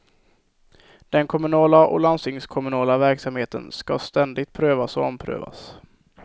Den kommunala och landstingskommunala verksamheten ska ständigt prövas, och omprövas.